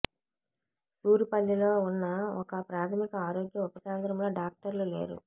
సూరిపల్లిలో ఉన్న ఒక ప్రాథమిక ఆరోగ్య ఉప కేంద్రంలో డాక్టర్లు లేరు